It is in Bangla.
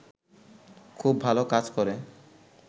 খুব ভালো কাজ করে